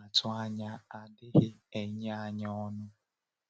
atụ anya adịghị enye anyị ọṅụ.”